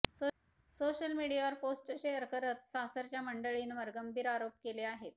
social मीडियावर post share करत सासरच्या मंडळींवर गंभीर आरोप केले आहेत